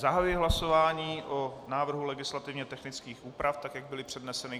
Zahajuji hlasování o návrhu legislativně technických úprav, tak jak byly předneseny.